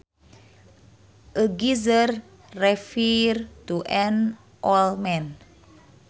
A geezer refers to an old man